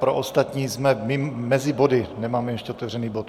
Pro ostatní: jsme mezi body, nemáme ještě otevřený bod.